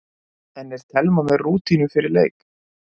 En er Telma með rútínu fyrir leik?